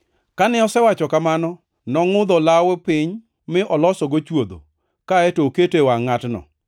Kane osewacho kamano, nongʼudho olawo piny, mi olosogo chwodho, kaeto oketo e wangʼ ngʼatno.